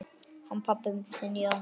Hann pabbi þinn, já.